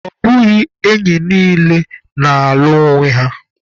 Ọ bụghị enyi niile na-alụ onwe.